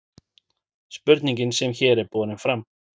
spurningin sem hér er borin fram